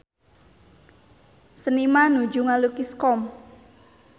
Seniman nuju ngalukis Qom